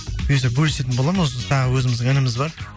бұйырса бөлісетін боламын осы тағы өзіміздің ініміз бар